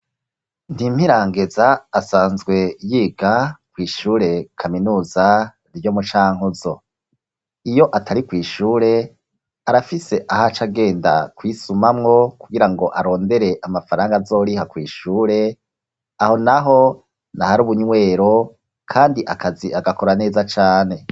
Ntimpirangeza asanzwe yiga kw'ishure kaminuza ryo mu cankuzo iyo atari kw'ishure arafise ahacagenda kwisumamwo kugira ngo arondere amafaranga azoriha kw'ishure aho naho n'ahari ubunywero kandi akazi agakora neza cane